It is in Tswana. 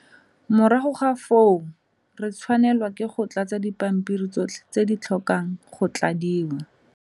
Morago ga foo, re tshwanelwa ke go tlatsa dipampiri tsotlhe tse di tlhokang go tladiwa.